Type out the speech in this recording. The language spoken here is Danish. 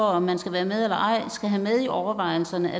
om man skal være med eller ej skal have med i overvejelserne